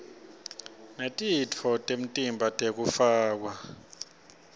netitfo temtimba tekufakwa